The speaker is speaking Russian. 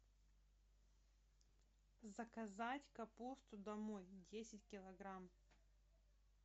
заказать капусту домой десять килограмм